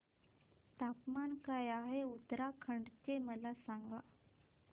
तापमान काय आहे उत्तराखंड चे मला सांगा